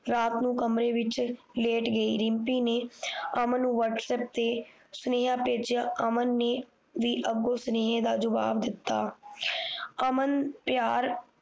ਰਾਤ ਨੂੰ ਕਮਰੇ ਵਿੱਚ ਲੇਟ ਗਈ ਰਿਮਪੀ ਨੇ ਅਮਨ ਨੂੰ ਵਹਟਸਅੱਪ ਤੇ ਸੁਨੇਹਾ ਭੇਜਿਆ ਅਮਨ ਨੇ ਵੀ ਅਗੋ ਸੁਨੇਹੇ ਦਾ ਜਵਾਬ ਦਿੱਤਾ ਆ ਅਮਨ ਪਿਆਰ